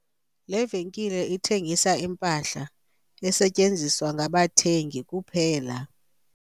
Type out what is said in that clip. Le venkile ithengisa impahla esetyenziswa ngabathengi kuphela.